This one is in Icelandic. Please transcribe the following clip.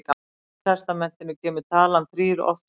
Í Gamla testamentinu kemur talan þrír oft fyrir.